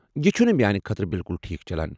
یہ چُھنہٕ میانہِ خٲطرٕ بِالکُل ٹھیک چلان۔